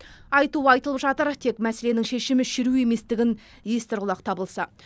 айтуы айтылып жатыр тек мәселенің шешімі шеру еместігін естір құлақ табылса